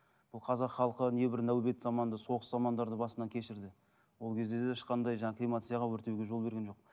бұл қазақ халқы небір нәубет заманда соғыс замандарды басынан кешірді ол кезде де ешқандай жаңа кремацияға өртеуге жол берген жоқ